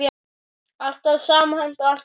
Alltaf samhent og alltaf glöð.